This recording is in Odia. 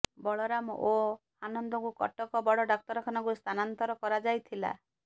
ବଳରାମ ଓ ଆନନ୍ଦଙ୍କୁ କଟକ ବଡ଼ ଡାକ୍ତରଖାନାକୁ ସ୍ଥାନାନ୍ତର କରାଯାଇଥିଲା